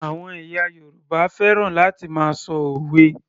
Àwọn ẹ̀yà Yorùbá fẹ́ràn láti máa ṣọ òwe